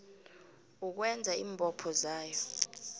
ukwenza iimbopho zayo